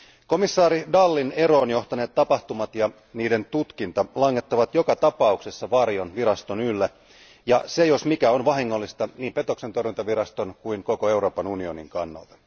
Komissaari Dallin eroon johtaneet tapahtumat ja niiden tutkinta langettavat joka tapauksessa varjon viraston ylle, ja se jos mikä on vahingollista niin petoksentorjuntaviraston kuin koko Euroopan unionin kannalta.